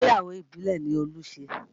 Ìgbéyàwó ìbílẹ̀ ni Olú ṣe